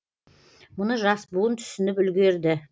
мұны жас буын түсініп үлгерді